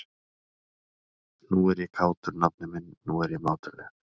Nú er ég kátur, nafni minn, nú er ég mátulegur.